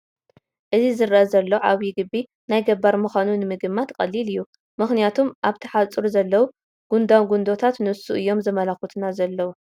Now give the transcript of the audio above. እዚ ዝርአ ዘሎ ዓብዪ ግቢ ናይ ገባር ምዃኑ ንምግማት ቀሊል እዩ፡፡ ምኽንያቱም ኣብቲ ሓፁሩ ዘለዉ ጉድጉዶታት ንሱ እዮም ዘመልክቱና ዘለዉ፡፡